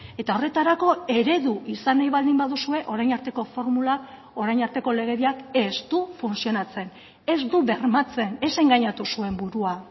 eta horretarako eredu izan nahi baldin baduzue orain arteko formula orain arteko legediak ez du funtzionatzen ez du bermatzen ez engainatu zuen burua